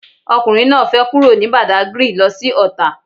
Ọkùnrin náà fẹ kúrò ní Badagry lo sí Ọ̀tà